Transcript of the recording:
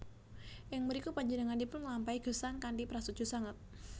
Ing mriku panjenenganipun nglampahi gesang kanthi prasaja sanget